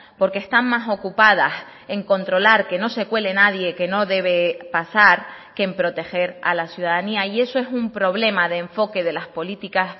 porque están más ocupadas en controlar que no se cuele nadie que no debe pasar que en proteger a la ciudadanía y eso es un problema de enfoque de las políticas